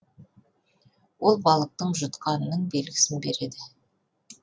ол балықтың жұтқанының белгісін береді